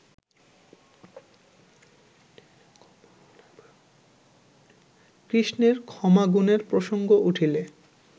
কৃষ্ণের ক্ষমাগুণের প্রসঙ্গ উঠিলে